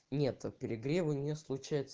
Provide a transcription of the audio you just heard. нет перегревы не случаются